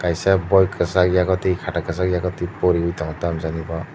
kaisa boi kwchak yago tui khata kwchak yago tui poriwi tongo tamo jani bo.